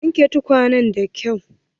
Ka wanke tukwanen da kyau!